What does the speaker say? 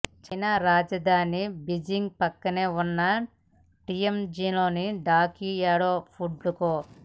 China రాజధాని Beijing ప్రక్కనే ఉన్న టియాంజిన్లోని డాకియాడో ఫుడ్ కో